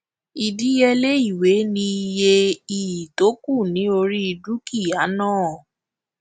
ìdíyelé ìwé ni iye iyì tó kù ní orí dúkìá náà